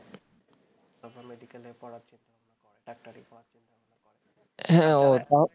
হ্যাঁ